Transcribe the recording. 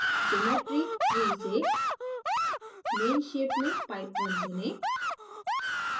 geometry tree से main shape में pipe _ 1 चुनें